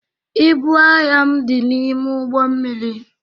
Ịbụ ahịa m dị n'ime ụgbọ mmiri.